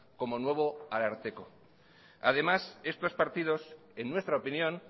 como nuevo ararteko además estos partidos en nuestra opinión